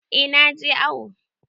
Eh na je awo.